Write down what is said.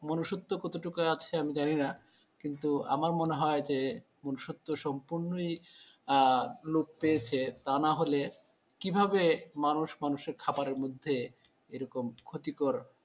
মনুষ্যত্ব কতটুকু আছে আমি জানিনা কিন্তু আমার মনে হয় যে মনুষত্ব সম্পূর্ণই আহ লোপ পেয়েছে তা না হলে কিভাবে মানুষ মানুষের খাওয়ার মধ্যে এরকম ক্ষতিকর,